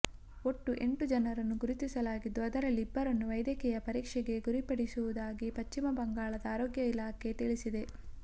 ಒಟ್ಟು ಎಂಟು ಜನರನ್ನು ಗುರುತಿಸಲಾಗಿದ್ದು ಅದರಲ್ಲಿ ಇಬ್ಬರನ್ನು ವೈದ್ಯಕೀಯ ಪರೀಕ್ಷೆಗೆ ಗುರಿಪಡಿಸಿರುವುದಾಗಿ ಪಶ್ಚಿಮ ಬಂಗಾಳದ ಆರೋಗ್ಯ ಇಲಾಖೆ ತಿಳಿಸಿದೆ